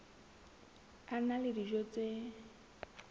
a na le dijo tse